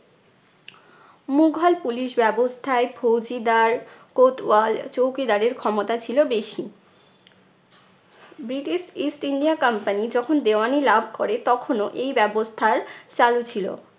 Mughal police ব্যবস্থায় ফৌজিদার, কোতোয়াল, চৌকিদার এর ক্ষমতা ছিলো বেশি। ব্রিটিশ east india company যখন দেওয়ানি লাভ করে তখনও এই ব্যবস্থার চালু ছিলো।